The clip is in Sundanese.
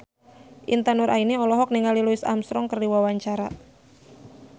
Intan Nuraini olohok ningali Louis Armstrong keur diwawancara